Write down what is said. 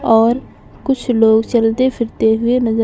और कुछ लोग चलते फिरते हुए नजर--